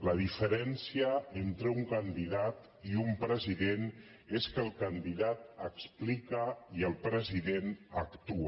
la diferència entre un candidat i un president és que el candidat explica i el president actua